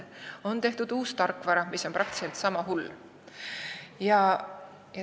On küll tehtud uus tarkvara, kuid see on peaaegu sama hull.